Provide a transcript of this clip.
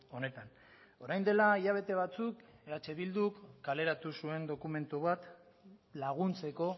honetan orain dela hilabete batzuk eh bilduk kaleratu zuen dokumentu bat laguntzeko